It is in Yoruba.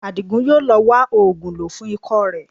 Àdìgún yóò lọ wá oògùn lò fún ikọ́ rẹ